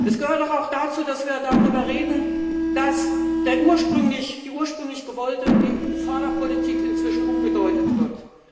Es gehört doch auch dazu, dass wir darüber reden, dass die ursprünglich gewollte EU Förderpolitik inzwischen umgedeutet wird.